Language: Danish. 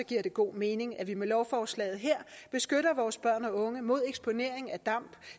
giver det god mening at vi med lovforslaget her beskytter vores børn og unge mod eksponering af damp